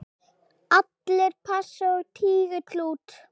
Allir pass og tígull út!